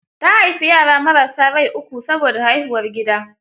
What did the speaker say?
Ta haifi yara marassa rai uku saboda haihuwar gida.